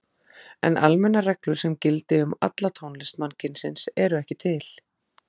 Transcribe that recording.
En almennar reglur sem gildi um alla tónlist mannkynsins eru ekki til.